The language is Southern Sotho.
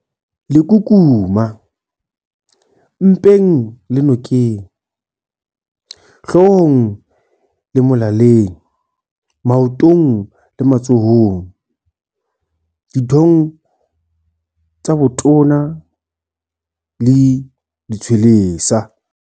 Lekukuma- Mpeng le nokeng, hloohong le molaleng, maotong le matsohong, dithong tsa botona le ditshwelesa.